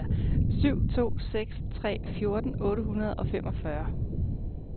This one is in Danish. syv to seks tre fjorten otte hundrede og femogfyrre